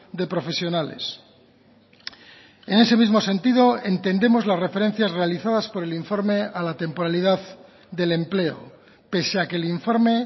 de profesionales en ese mismo sentido entendemos las referencias realizadas por el informe a la temporalidad del empleo pese a que el informe